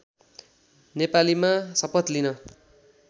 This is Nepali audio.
नेपालीमा शपथ लिन